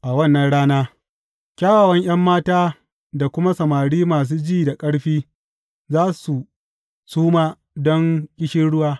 A wannan rana kyawawan ’yan mata da kuma samari masu ji da ƙarfi za su suma don ƙishirwa.